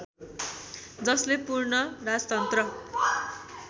जसले पूर्ण राजतन्त्र